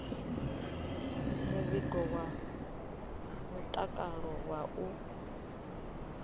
muvhigo wa mutakalo wa u